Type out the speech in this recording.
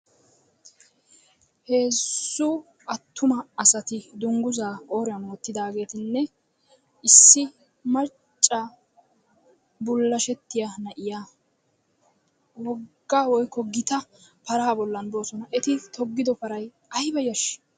Heezzu attuma asati dungguzaa qooriyan wottidaageetinne issi macca bullashettiya na'iya wogga woykko gita paraa bollan doosona. Eti toggido parayi ayba yashshii?